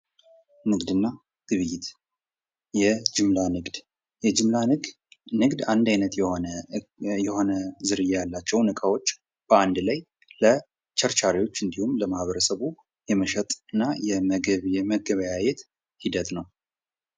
ንግድና ግብይት የጅምላ ንግድ፡- የጅምላ ንግድ አንድ አይነት የሆነ ዝርያ ያላቸውን ዕቃዎች በአንድ ላይ ለቸርቻሪዎች እንዲሁም ለማህበረሰቡ የመሸጥና የመገበያየት ሂደት ነው።